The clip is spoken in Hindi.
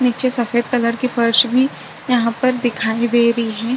नीचे सफेद कलर की फर्श भी यहाँ पर दिखाई दे रही हैं।